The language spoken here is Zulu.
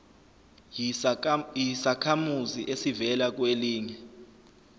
yisakhamuzi esivela kwelinye